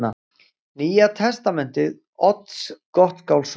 Nýja Testamenti Odds Gottskálkssonar